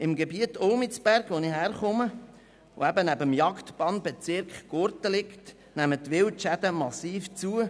Im Gebiet Ulmizberg, aus dem ich herkomme und das neben dem Jagdbann-Bezirk Gurten liegt, nehmen die Wildschäden massiv zu.